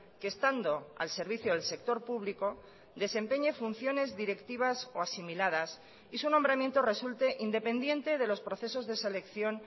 que estando al servicio del sector público desempeñe funciones directivas o asimiladas y su nombramiento resulte independiente de los procesos de selección